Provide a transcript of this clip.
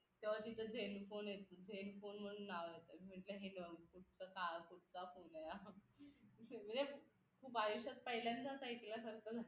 तेव्हा तिथे sell phone यायचे sell फोन म्हणून नाव यायचं म्हटलं हे फक्त नुसतं नावापुरता फोन आहे हा म्हणजे खूप आयुष्यात पहिल्यांदाच ऐकलं